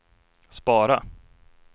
spara